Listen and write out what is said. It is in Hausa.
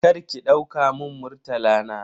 Karki dauka mun Murtala na.